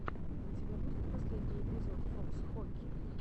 у тебя будет последний эпизод фокс хоки